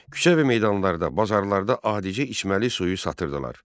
Küçə və meydanlarda, bazarlarda adicə içməli suyu satırdılar.